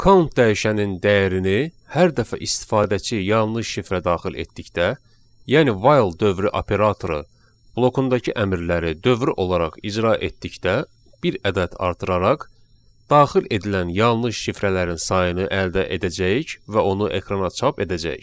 Count dəyişənin dəyərini hər dəfə istifadəçi yanlış şifrə daxil etdikdə, yəni while dövrü operatoru blokundakı əmrləri dövri olaraq icra etdikdə bir ədəd artıraraq daxil edilən yanlış şifrələrin sayını əldə edəcəyik və onu ekrana çap edəcəyik.